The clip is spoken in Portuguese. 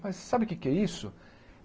Mas sabe o que é que é isso?